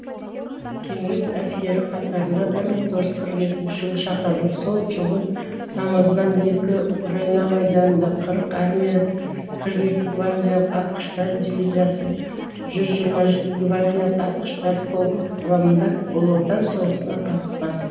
кеңес әскері қатарына бір мың тоғыз жүз қырық екінші жылы шақырылып сол жылдың тамызынан екі украина майданында қырық армия қырық екі гвардиялық атқыштар дивизиясы жүз жиырма жеті гвардиялық атқыштар полкі құрамында ұлы отан соғысына қатыскан